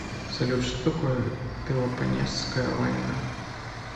салют что такое пелопоннесская война